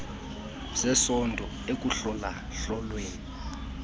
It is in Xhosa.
zesondlo ekuhlola hlolweni